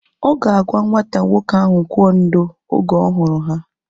Ọ ga-agwa nwata nwoke ahụ kwụọ ndo! Oge ọ hụrụ ha